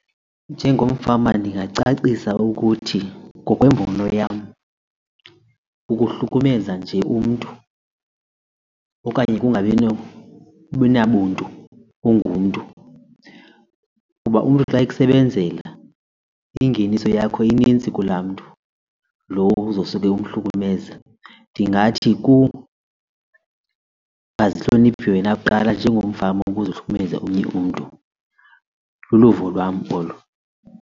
Njengomfama ndingacacisa ukuthi ngokwembono yam kukuhlukumeza nje umntu okanye kungabi nabantu ungumntu. Kuba umntu xa ekusebenzela ingeniso yakho inintsi kulaa mntu lo uzawusuke umhlukumeza. Ndingathi kungazihloniphe wena kuqala njengomfama ukuze uhlukumeze omnye umntu. Luluvo lwam olo.